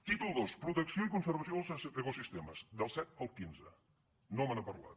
títol ii protecció i conservació dels ecosistemes del set al quinze no me n’ha parlat